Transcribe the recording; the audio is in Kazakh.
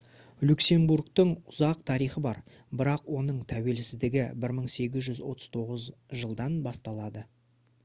люксембургтің ұзақ тарихы бар бірақ оның тәуелсіздігі 1839 жылдан басталады